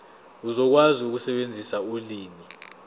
uzokwazi ukusebenzisa ulimi